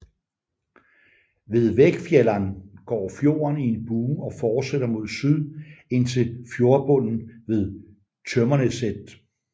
Ved Veggfjellan går fjorden i en bue og fortsætter mod syd ind til fjordbundnen ved Tømmerneset